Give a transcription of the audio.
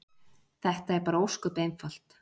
Þetta er bara ósköp einfalt.